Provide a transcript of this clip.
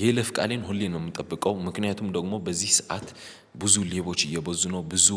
የይለፍ ቃሌን ሁሌ ነው የምጠብቀው ምክንያቱም ደግሞ በዚህ ሰዓት ብዙ ሌቦች እየበዙ ነው ብዙ